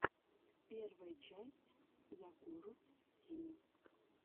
первая часть якурус тим